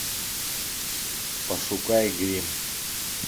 пошукай гримм